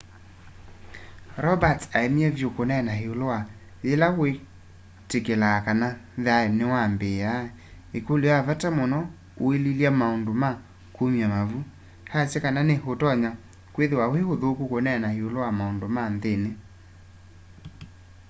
roberts aemie vyu kuneena iulu wa yila witikilaa kana thayu niwambiia ikulyo ya vata muno uililya maundu ma kumya mavu aasya kana ni utonya kwithiwa wi uthuku kuneena iulu wa maundu ma nthini